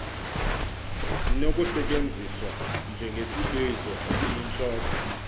sinokusetyenziswa njengesibizo esiyintloko